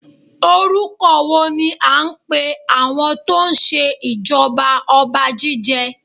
Orúkọ wo ní a ń pè àwọn tó ń ṣe ìjọba ọba Jíjẹ?